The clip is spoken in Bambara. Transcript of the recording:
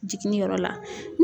Jiginniyɔrɔ la.